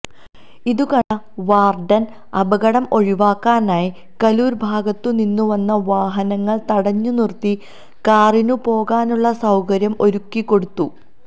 ഇതു കണ്ട വാര്ഡന് അപകടം ഒഴിവാക്കാനായി കലൂര് ഭാഗത്തുനിന്നു വന്ന വാഹനങ്ങള് തടഞ്ഞുനിര്ത്തി കാറിനു പോകാനുള്ള സൌകര്യം ഒരുക്കിക്കൊടുത്തു